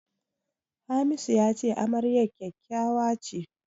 Hamisu ya ce amaryar kyakkyawa ce.